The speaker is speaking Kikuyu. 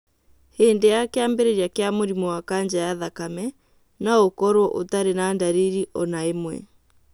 Hĩndĩ ya kĩambĩrĩria kĩa mũrimũ wa kanja ya thakame , no ũkorũo ũtarĩ na ndariri o na ĩmwe.